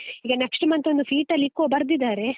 ಈಗ next month ಒಂದು fetal echo ಬರ್ದಿದರೆ.